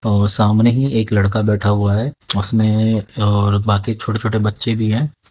और सामने ही एक लड़का बैठा हुआ है उसने और बाकी छोटे छोटे बच्चे भी हैं।